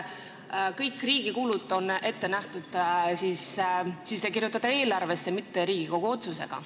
Kõik riigi kulud on ette nähtud sisse kirjutada eelarvesse, määrata Riigikogu otsusega.